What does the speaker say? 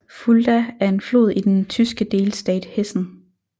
Fulda er en flod i den tyske delstat Hessen